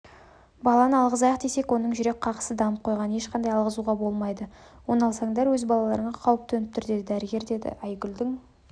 баланы алғызайық десек оның жүрек қағысы дамып қойған ешқандай алғызуға болмайды оны алсандар өз балаларыңа қауіп төніп тұр деді дәрігер дейдіайгүлдің